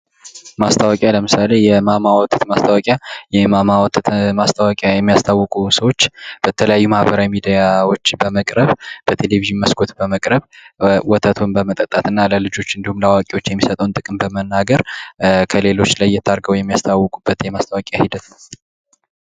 ማስታወቂያ ለምሳሌ የማማ ወተት ማስታወቂያ የማማ ወተት ማስታወቂያ የሚያስተዋውቁ ሰዎች በተለያዩ ማህበራዊ ሚዲያዎች በመቅረብ፣ በቴሌቪዥን መስኮት በመቅረብ ወተቱን በመጠጣት እና ለልጆች እንዲሁም አዋቂዎች የሚሰጠውን ጥቅም በመናገር ከሌሎች ለየት አድርገው የሚያስተዋውቁበት የማስታወቂያ ሂደት ነው።